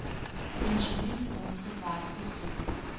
pensioenfondse werk besoek